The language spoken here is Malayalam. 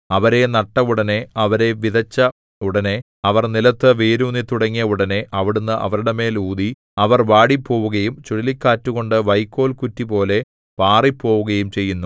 അവരെ നട്ട ഉടനെ അവരെ വിതച്ച ഉടനെ അവർ നിലത്തു വേരൂന്നിത്തുടങ്ങിയ ഉടനെ അവിടുന്ന് അവരുടെ മേൽ ഊതി അവർ വാടിപ്പോവുകയും ചുഴലിക്കാറ്റുകൊണ്ടു വൈക്കോൽകുറ്റിപോലെ പാറിപ്പോവുകയും ചെയ്യുന്നു